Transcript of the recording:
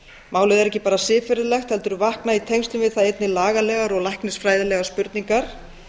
málið er ekki bara siðferðilegt heldur vakna í tengslum við það einnig lagalegar og læknisfræðilegar spurningar